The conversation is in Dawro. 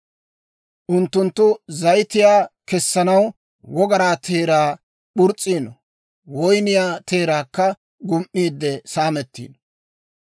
Unttunttu zayitiyaa kessanaw wogaraa teeraa purs's'iino; woyniyaa teeraakka gum"iidde saamettiino.